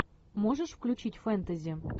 можешь включить фэнтези